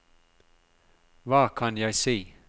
hva kan jeg si